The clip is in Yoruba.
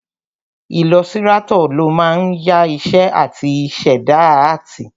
Ilọsirátọ̀ ló máa ń ya iṣẹ́ áàtì àti ṣẹ̀dá áàtì